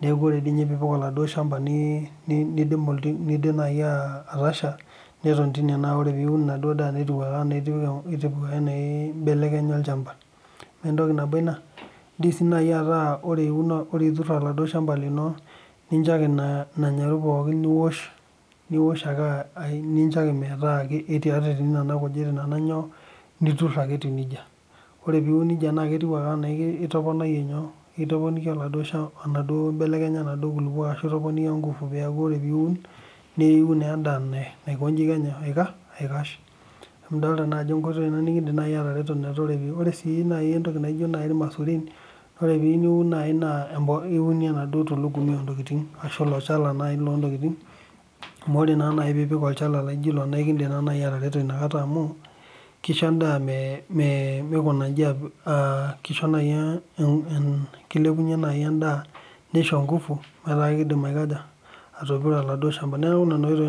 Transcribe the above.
nepoi dei ninye piipik eladuo ilshamba niidim nai atasha neton teine, neaku ore piun enaduo daa netiu ake enaa eitu naa eibelekenyi olchamba. Naaku entoki nabo ina ,eidim sii nai ataa ore iturr eladuo ilshamba lino nincho ake naa nanyaru pookin niwosh ake aa nincho ake metaa ketii nena nkujit naa nenyoo ,niturr ake etiuneja. Ore piun neja naa ketiu ake anaa itoponaiye nyoo, itoponika eladuo ilshamba enaduo nkibelekenyata eladuo nkulupo ashu itoponika engufu peaku ore piun neyou naa endaa naakonyi kenya aikash. Nidolita naa ajo enkoitoi nikindim nai atereto ore sii nai entoki naijo ilmasurin, ore piun nai naa iunie eladuo tulugumi ontokitin ashu olchala nai loontokitin, amu ore naa nai piipik olchala laijo ilo naa keidim nai atareto inakata amu keisho endaa meeikunanji, keisho nai, keilepunye nai endaa neisho enkufu metaa keidim aikoja, atopiro eladuo ilshamba naaku nena oitoi.